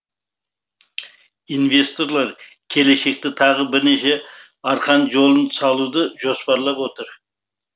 инвесторлар келешекте тағы бірнеше арқан жолын салуды жоспарлап отыр